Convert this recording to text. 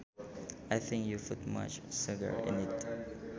I think you put much sugar in it